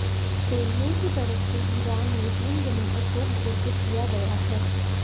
Khamenei की तरफ से ईरान में तीन दिनों का शोक घोषित किया गया है